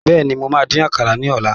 Bẹ́ẹ̀ni, mo máa dín àkàrà ní ọ̀la.